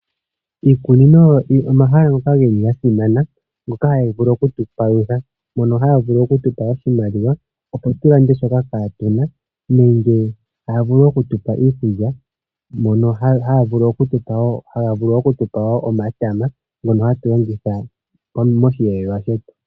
Iikunino oyasimana, ohayi gandja iipalutha. Ohayi gandja iimaliwa opo aantu yavule okulanda shoka yapumbwa nosho wo iikulya ngaashi omatama ngoka haga longithwa moshiyelelwa.